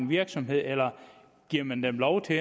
virksomhed eller giver man dem lov til